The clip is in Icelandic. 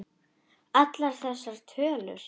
Allar þessar tölur.